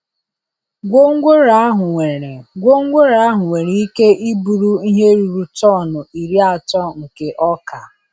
Gwongworo ahụ nwere Gwongworo ahụ nwere ike iburu ihe ruru tọn iri atọ nke ọka.